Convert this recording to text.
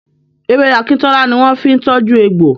Ewé akíntọ́lá ni wọ́n fi ń tọ́jú egbò.